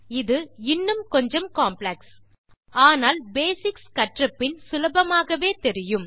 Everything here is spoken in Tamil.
இது இன்னும் கொஞ்சம் காம்ப்ளெக்ஸ் ஆனால் பேசிக்ஸ் கற்றபின் சுலபமாகவே தெரியும்